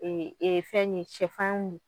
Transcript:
fɛn ye sɛfan ye